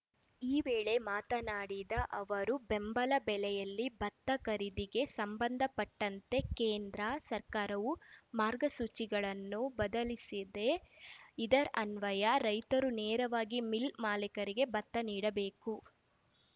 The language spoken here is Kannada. ಈ ವೇಳೆ ಮಾತನಾಡಿದ ಅವರು ಬೆಂಬಲ ಬೆಲೆಯಲ್ಲಿ ಭತ್ತ ಖರೀದಿಗೆ ಸಂಬಂಧಪಟ್ಟಂತೆ ಕೇಂದ್ರ ಸರ್ಕಾರವು ಮಾರ್ಗಸೂಚಿಗಳನ್ನು ಬದಲಿಸಿದೆ ಇದರನ್ವಯ ರೈತರು ನೇರವಾಗಿ ಮಿಲ್‌ ಮಾಲಿಕರಿಗೆ ಭತ್ತ ನೀಡಬೇಕು